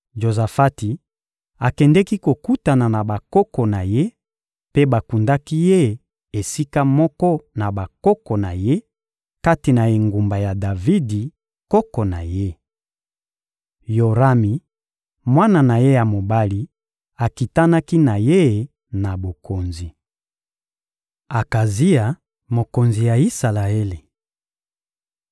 Jozafati akendeki kokutana na bakoko na ye, mpe bakundaki ye esika moko na bakoko na ye kati na engumba ya Davidi, koko na ye. Yorami, mwana na ye ya mobali, akitanaki na ye na bokonzi. Akazia, mokonzi ya Isalaele